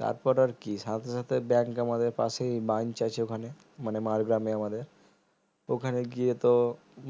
তারপর আর কি সাথে সাথে bank আমাদের পাশেই branch আছে ওখানে মানে মাড়গ্রামে আমাদের ওখানে গিয়ে তো